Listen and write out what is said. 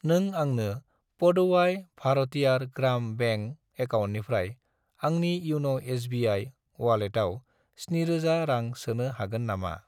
नों आंनि पुदुवाइ भारतियार ग्राम बेंक एकाउन्टनिफ्राय आंनि इउन' एस.बि.आइ. अवालेटाव 7000 रां सोनो हागोन नामा?